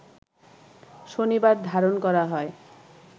শনিবার ধারণ করা হয়